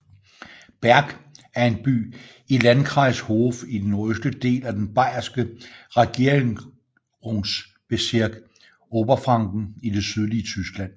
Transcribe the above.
Berg er en by i Landkreis Hof i den nordøstlige del af den bayerske regierungsbezirk Oberfranken i det sydlige Tyskland